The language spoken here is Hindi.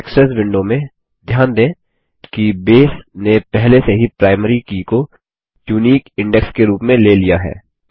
इंडेक्सेस विंडो में ध्यान दें कि बेस ने पहले से ही प्राइमरी की को यूनिक इंडेक्स के रूप में ले लिया है